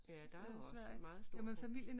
Ja der er jo også meget stor